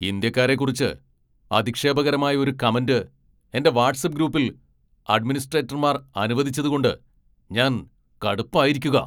ഇന്ത്യക്കാരെക്കുറിച്ച് അധിക്ഷേപകരമായ ഒരു കമന്റ് എന്റെ വാട്ട്സ്ആപ്പ് ഗ്രൂപ്പിൽ അഡ്മിനിസ്ട്രേറ്റർമാർ അനുവദിച്ചതുകൊണ്ട് ഞാൻ കടുപ്പായിരിക്കുകാ.